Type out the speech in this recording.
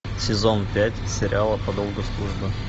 сезон пять сериала по долгу службы